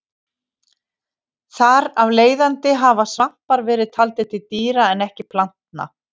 Þar af leiðandi hafa svampar verið taldir til dýra en ekki plantna.